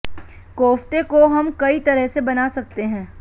कोफ्ते को हम कई तरह से बना सकते है